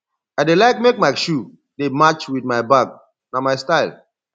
i dey like make my shoe dey match wit my bag na my style